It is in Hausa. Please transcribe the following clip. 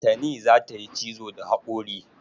Tani za ta yi cizo da haƙori.